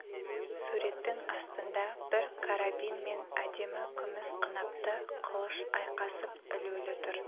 суреттің астында бір карабин мен әдемі күміс қынапты қылыш айқасып ілулі тұр